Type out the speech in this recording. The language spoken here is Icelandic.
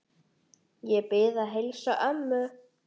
Ég bið að heilsa ömmu.